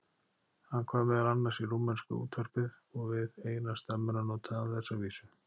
Hann kvað meðal annars í rúmenska útvarpið og við eina stemmuna notaði hann þessa vísu